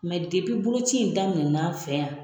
Mɛ boloci in daminɛna an fɛ yan,